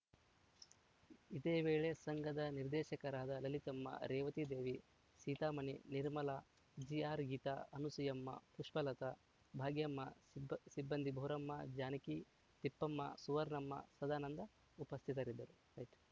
ಇದೇವೇಳೆ ಸಂಘದ ನಿರ್ದೇಶಕರಾದ ಲಲಿತಮ್ಮ ರೇವತಿದೇವಿ ಸೀತಾಮಣಿ ನಿರ್ಮಲಾ ಜಿಆರ್‌ಗೀತಾ ಅನಸೂಯಮ್ಮ ಪುಷ್ಪಲತಾ ಭಾಗ್ಯಮ್ಮ ಸಿಬ್ ಸಿಬ್ಬಂದಿ ಬೋರಮ್ಮ ಜಾನಕಿ ತಿಪ್ಪಮ್ಮ ಸುವರ್ಣಮ್ಮ ಸದಾನಂದ ಉಪಸ್ಥಿತರಿದ್ದರು